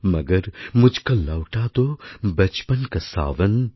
মগর মুঝকো লৌটা দো বচপন কা শাওন